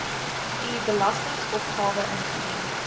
u belastingopgawe ingedien